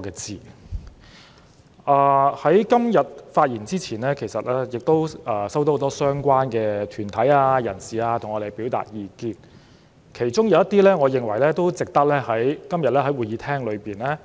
在我今天發言前，很多相關團體和人士曾向我們表達意見，而他們提出的一些憂慮，我認為值得今天在會議廳